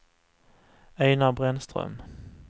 Einar Brännström